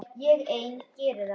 Ég ein geri það.